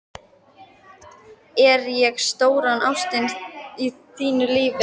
Er ég stóra ástin í þínu lífi?